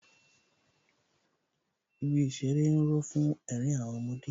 Ibi ìṣeré ń ró fún ẹ̀rín àwọn ọmọdé